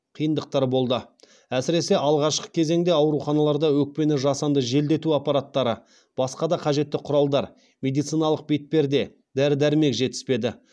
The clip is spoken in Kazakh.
қиындықтар болды әсіресе алғашқы кезеңде ауруханаларда өкпені жасанды желдету аппараттары басқа да қажетті құралдар медициналық бетперде дәрі дәрмек жетіспеді